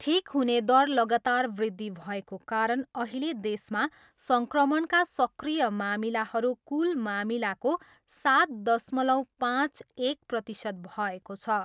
ठिक हुने दर लगातार वृद्धि भएको कारण अहिले देशमा सङ्क्रमणका सक्रिय मामिलाहरू कुल मामिलाको सात दश्मालव पाँच, एक प्रतिशत भएको छ।